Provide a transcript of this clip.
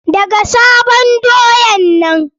Daka sabon doyan nan!